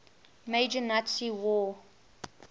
major nazi war